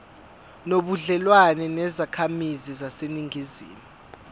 nobudlelwane nezakhamizi zaseningizimu